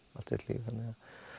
þannig að